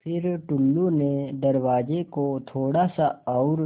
फ़िर टुल्लु ने दरवाज़े को थोड़ा सा और